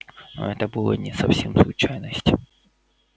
ну это была не совсем случайность